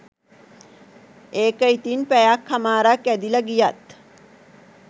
ඒක ඉතින් පැයක් හමාරක් ඇදිල ගියත්